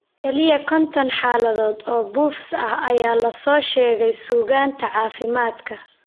Kaliya 50 xaaladood oo BOFS ah ayaa laga soo sheegay suugaanta caafimaadka.